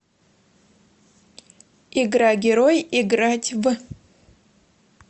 игра герой играть в